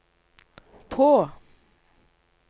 på